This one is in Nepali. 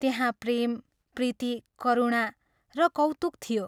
त्यहाँ प्रेम, प्रीति, करुणा र कौतुक थियो।